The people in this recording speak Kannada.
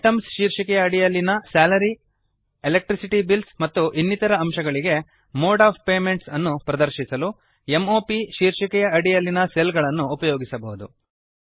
ಐಟೆಮ್ಸ್ ಶೀರ್ಷಿಕೆಯ ಅಡಿಯಲ್ಲಿನ Salary ಎಲೆಕ್ಟ್ರಿಸಿಟಿ ಬಿಲ್ಸ್ ಮತ್ತು ಇನ್ನಿತರ ಅಂಶಗಳಿಗೆ ಮೋಡ್ ಒಎಫ್ ಪೇಮೆಂಟ್ಸ್ ಅನ್ನು ಪ್ರದರ್ಶಿಸಲು m o ಪ್ ಶೀರ್ಷಿಕೆಯ ಅಡಿಯಲ್ಲಿನ ಸೆಲ್ ಗಳನ್ನು ಉಪಯೋಗಿಸಬಹುದು